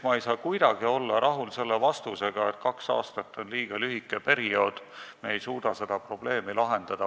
Ma ei saa kuidagi olla rahul selle vastusega, et kaks aastat on liiga lühike periood ja me ei suuda seda probleemi lahendada.